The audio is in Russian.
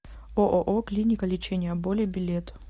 ооо клиника лечения боли билет